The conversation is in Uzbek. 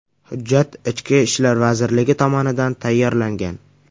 Hujjat Ichki ishlar vazirligi tomonidan tayyorlangan.